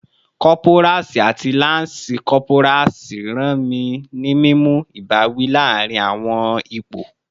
Corporals ati lance corporals ran ni mimu ibawi laarin awọn ipo